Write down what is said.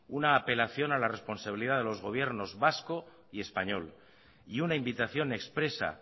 una apelación a la responsabilidad de los gobierno vasco y español y una invitación expresa